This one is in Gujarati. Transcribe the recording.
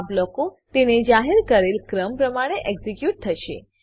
આ બ્લોકો તેને જાહેર કરેલ ક્રમ પ્રમાણે એક્ઝીક્યુટ થશે